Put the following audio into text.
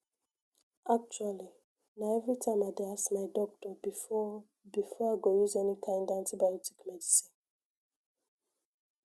actually na everytime i dey ask my doctor before before i go use any kind antibiotic medicine